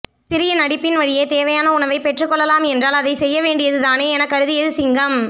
சிறிய நடிப்பின் வழியே தேவையான உணவைப் பெற்றுக் கொள்ளலாம் என்றால் அதைச் செய்ய வேண்டியது தானே எனக் கருதியது சிங்கம்